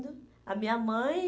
a minha mãe